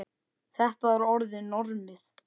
Þetta var orðið normið.